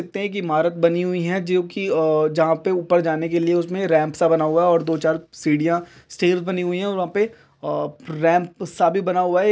लगता है कि एक इमारत बनी हुई हैं जोकि अ जहाँ पे ऊपर जाने के लिए उसमें रैंप सा बना हुआ है और दो चार सीढ़ियाँ स्टैर्स बनी हुई हैं और वहां पे अ रैंप सा भी बना हुआ है।